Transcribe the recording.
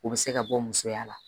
O bɛ se ka bɔ musoya la